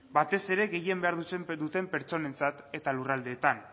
batez ere gehien behar duten pertsonentzat eta lurraldeetan